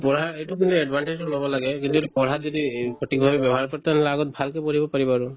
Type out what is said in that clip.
এইটো কিন্তু advertise তো ওলাব লাগে কিন্তু এইটো পঢ়াত যদি ই প্ৰতি ঘৰ তাৰ মানে আগত ভালকে পঢ়িব পাৰিব আৰু